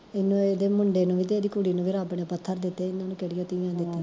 ਏਨੁ ਏਦੇ ਮੁੰਡੇ ਨੂੰ ਵੀ ਤੇ ਏਦੀ ਕੁੜੀ ਨੂੰ ਵੀ ਰੱਬ ਨੇ ਪੱਥਰ ਦਿੱਤੇ, ਏਨਾ ਨੂੰ ਕਿਹੜੀਆਂ ਤੀਵੀਆਂ ਦਿੱਤੀਆ